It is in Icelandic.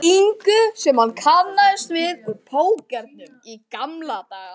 ingu sem hann kannaðist við úr pókernum í gamla daga.